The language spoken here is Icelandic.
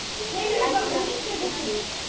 Agnar og Hlíf.